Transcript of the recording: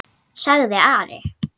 sagði Ari.